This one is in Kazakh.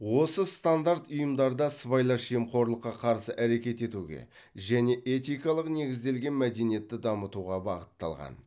осы стандарт ұйымдарда сыбайлас жемқорлыққа қарсы әрекет етуге және этикалық негізделген мәдениетті дамытуға бағытталған